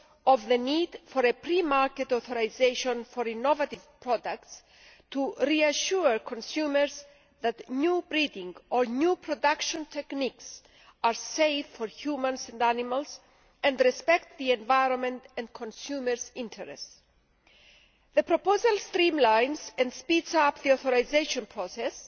of the need for pre market authorisation for innovative products, to reassure consumers that new breeding or new production techniques are safe for humans and animals and respect the environment and consumers' interests. The proposal streamlines and speeds up the authorisation process